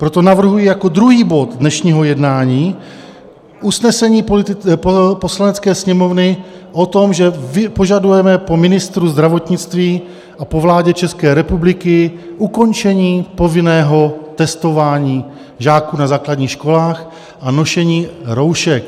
Proto navrhuji jako druhý bod dnešního jednání usnesení Poslanecké sněmovny o tom, že požadujeme po ministru zdravotnictví a po vládě České republiky ukončení povinného testování žáků na základních školách a nošení roušek.